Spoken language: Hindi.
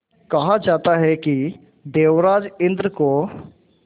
कहा जाता है कि देवराज इंद्र को